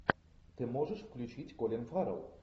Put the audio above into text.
ты можешь включить колин фаррелл